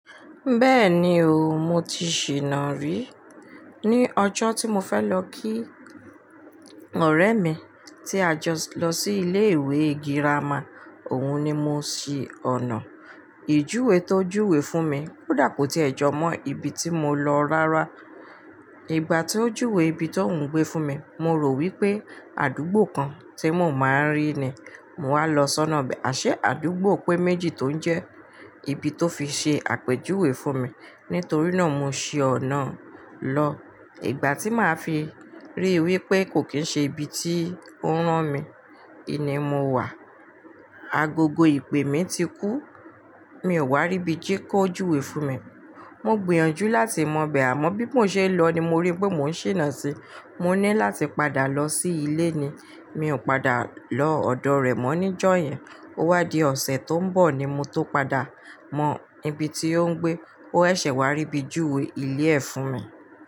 Bẹ́ẹ̀ni o, mo ti ṣìnà-rí. Ni ọjọ́ tí mo fẹ́ lọ kí ọ̀rẹ́ mi tí a jọ lọ sí ilé ìwé girama, òun ni mo ṣí ọ̀nà. Ìjuwe tó júwe fún mi kò tí ẹ̀ jọ mọ́ ibi tí mo lọ rárá. Ìgbà tí ó júwe ibi tó ń gbé fún mi, mo rò wí pé àdúgbò kan tí mo máa ń rí ni mòo wá lọ sọ́nà bẹ́ẹ̀. Aṣé àdúgbò pé méjì tó ń jẹ́ ibi tó fi ṣe àpèjúwe fún mi. Nítorí náà mo ṣi ọ̀nà lọ. Ìgbà tí màá fi ríi wí pé kò kín ṣe ibi tí ó rán mi, ini mo wà. Agogo ìpè mi ti kú. Mi ò wá rí ibi tí kò júwe fún mi. Mo gbìyànjú láti mọ bẹ̀rẹ̀, àmọ́ bí mo ṣe lọ ni mo rí pé mò ń ṣìnà si. Mo ní láti padà lọ sí ilé ni. Mi ò padà lọ ọ̀dọ̀ rẹ̀ mọ́ níjọ́ yẹn. Ó wá di ọ̀sẹ̀ tó ń bọ̀ ni mo tó padà mọ ibi tí ó ń gbé. Ó ṣẹ̀ wá ríbi júwe ilé ẹ̀ fún mi.